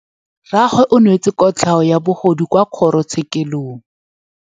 Rragwe o neetswe kotlhaô ya bogodu kwa kgoro tshêkêlông.